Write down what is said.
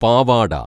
പാവാട